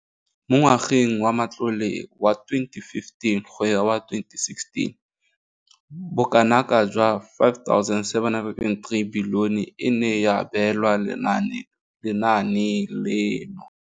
Mo ngwageng wa matlole wa 2015 go ya wa 2016, bokanaka 5 703 bilione e ne ya abelwa lenaane leno.